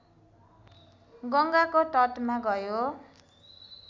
गङ्गाको तटमा गयो